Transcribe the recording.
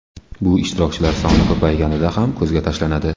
Bu ishtirokchilar soni ko‘payganida ham ko‘zga tashlanadi.